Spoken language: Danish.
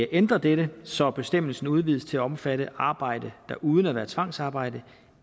ændre dette så bestemmelsen udvides til at omfatte arbejde der uden at være tvangsarbejde